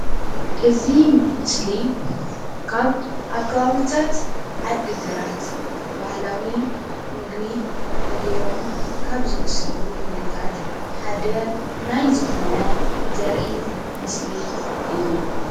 እዚ ምስሊ ካብ ኣብ ከባብታት ዓዲ ግራት ባህላዊ ምግቢ ተጌሮም ካብ ዝዉሰዱ ምግብታት ሓደ ናይ ዝኮነ ዘርኢ ምስሊ እዩ ።